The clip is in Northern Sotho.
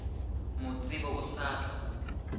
mo tsebe o sa tla